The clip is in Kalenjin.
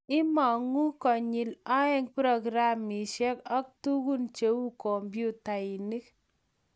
Imong'ugei konyil aeng; prokramishek ak tukun cheu kompyutainik